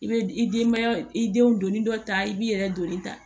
I bɛ i denbaya i denw donni dɔ ta i b'i yɛrɛ joli ta